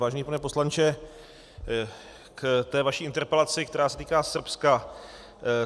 Vážený pane poslanče, k té vaší interpelaci, která se týká Srbska.